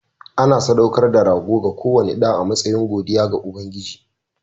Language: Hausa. Ana sadaukar da rago ga kowane ɗa a matsayin godiya ga Ubangiji.